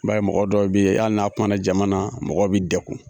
I ba ye mɔgɔ dɔw yen ali n'a kumana jama na mɔgɔw bi dɛkun